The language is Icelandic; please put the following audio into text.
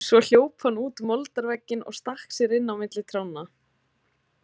Svo hljóp hann út moldarveginn og stakk sér inn á milli trjánna.